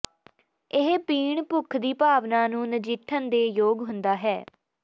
ਇਹ ਪੀਣ ਭੁੱਖ ਦੀ ਭਾਵਨਾ ਨੂੰ ਨਜਿੱਠਣ ਦੇ ਯੋਗ ਹੁੰਦਾ ਹੈ